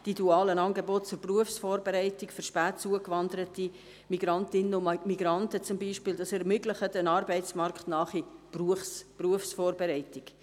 Die dualen Angebote zur Berufsvorbereitung für spät zugewanderte Migrantinnen und Migranten zum Beispiel ermöglichen eine arbeitsnahe Berufsvorbereitung.